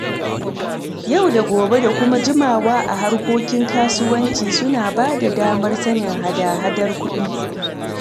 Yau da gobe da kuma jimawa a harkokin kasuwanci, suna bada damar sanin hada-hadar kuɗi.